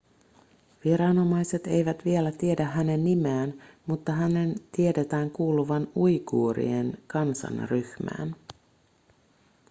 viranomaiset eivät vielä tiedä hänen nimeään mutta hänen tiedetään kuuluvan uiguurien kansanryhmään